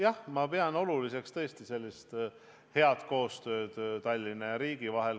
Jah, ma tõesti pean head koostööd Tallinna ja riigi vahel oluliseks.